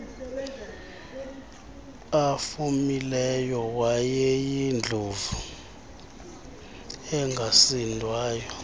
afumileyo wayeyindlovu engasindwayo